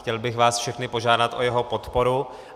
Chtěl bych vás všechny požádat o jeho podporu.